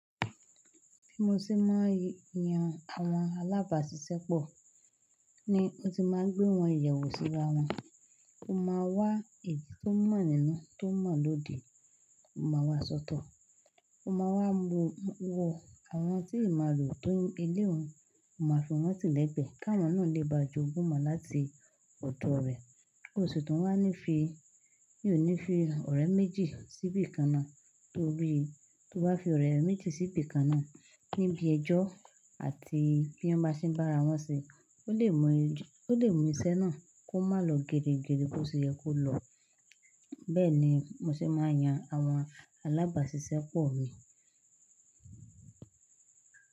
Bí mo ṣe máa ń yan àwọn alábàáṣiṣẹ́ pọ̀ ni ó ti máa ń gbé wọn iyẹ̀wo sírà wọn. Mo máa wá èyí tó mọ̀ nínú, tó mọ̀ lóòde, ó máa wà sọ́tọ̀. Ó máa wá wo àwọn tí ì imo re o tó ń elé un, ó máa fi wọ́n tilẹ̀ gbẹ̀, ki àwọn náà lè bá jogún imọ láti ọ̀dọ̀ rẹ̀. Ó sì tun wá ní fi, mi o ní fi ọ̀rẹ́ méjì síbí kan náà torí tó bá fi ọ̀rẹ́ méjì síbí kan náà níbi ẹjọ́ àti bí wọ́n bá ṣe ń bá ara wọn ṣe, ó lè mu iṣẹ́ náà kó má lò gere gere bó ṣe yẹ kó lọ. Bẹ́ẹ̀ ni mo ṣe máa ń yan àwọn alábàáṣiṣẹ́ pọ̀ mi.